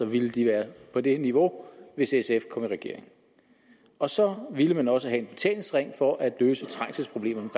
ville de være på det niveau hvis sf kom i regering og så ville man også have en betalingsring for at løse trængselsproblemerne